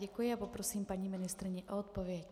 Děkuji a poprosím paní ministryni o odpověď.